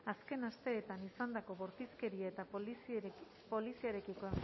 azken asteetan izandako bortizkeria eta poliziarekiko